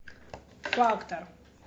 фактор